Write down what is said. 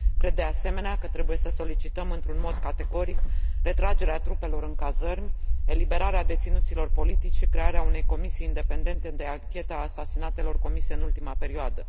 Cred, de asemenea, că trebuie să solicităm într un mod categoric retragerea trupelor în cazărmi, eliberarea deținuților politici și crearea unei comisii independente de anchetă a asasinatelor comise în ultima perioadă.